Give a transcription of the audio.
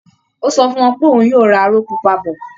Ó sọ fún wọn pé òun yóò ra aró pupa bọ̀